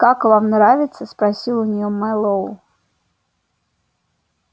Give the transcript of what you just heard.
как вам нравится спросил у неё мэллоу